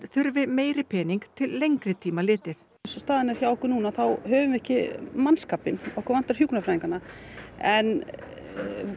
þurfi meiri pening til lengri tíma litið eins og staðan er hjá okkur núna þá höfum við ekki mannskapinn hjúkrunarfræðingana en